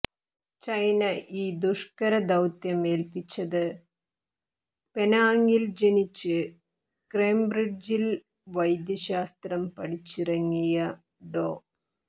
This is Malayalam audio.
ചൈന ഈ ദുഷ്കര ദൌത്യം ഏൽപ്പിച്ചത് പെനാങിൽ ജനിച്ച് കേംബ്രിഡ്ജിൽ വൈദ്യശാസ്ത്രം പഠിച്ചിറങ്ങിയ ഡോ